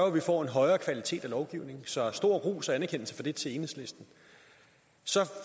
at vi får en højere kvalitet af lovgivningen så stor ros og anerkendelse for det til enhedslisten så